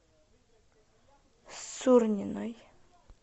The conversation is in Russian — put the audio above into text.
сурниной